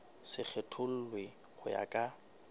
se kgethollwe ho ya ka